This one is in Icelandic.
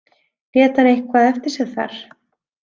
Lét hann eitthvað eftir sig þar?